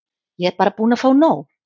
Ég er bara búin að fá nóg.